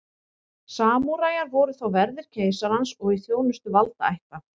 samúræjar voru þá verðir keisarans og í þjónustu valdaætta